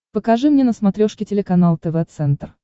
покажи мне на смотрешке телеканал тв центр